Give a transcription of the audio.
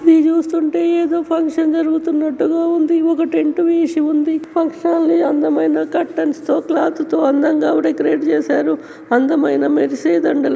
ఇది చూస్తుంటే ఏదో ఫంక్షన్ జరుగుతున్నట్టుగా ఉంది. ఇది ఒక టెంట్ వేసి ఉంది ఫంక్షన్ హాల. అందమైన కర్తన్స్ తో క్లాత్ తో అందంగా డెకరేట్ చేసారు .అందమైన మెరిసే దండలు --